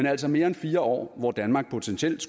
altså mere end fire år hvor danmark potentielt